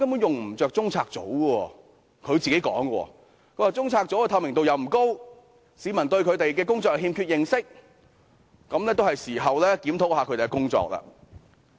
這是她親口說的，她指中策組的透明度不高，市民對他們的工作欠缺認識，是時候檢討他們的工作。